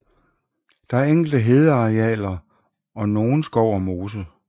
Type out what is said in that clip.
Der er enkelte hedearealer og nogen skov og mose